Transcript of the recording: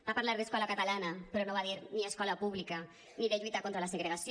va parlar d’escola catalana però no va dir ni escola pública ni de lluita contra la segregació